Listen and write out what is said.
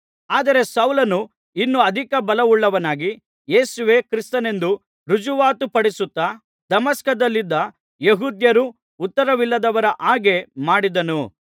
ಆದರೆ ಸೌಲನು ಇನ್ನೂ ಅಧಿಕ ಬಲವುಳ್ಳವನಾಗಿ ಯೇಸುವೇ ಕ್ರಿಸ್ತನೆಂದು ರುಜುವಾತುಪಡಿಸುತ್ತಾ ದಮಸ್ಕದಲ್ಲಿದ್ದ ಯೆಹೂದ್ಯರನ್ನು ಉತ್ತರವಿಲ್ಲದವರ ಹಾಗೆ ಮಾಡಿದನು